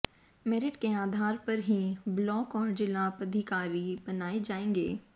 merit के आधार पर ही ब्लॉक और जिला पदाधिकारी बनाए जाएंगे